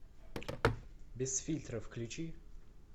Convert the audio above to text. без фильтра включи